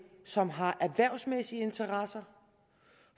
som har erhvervsmæssige interesser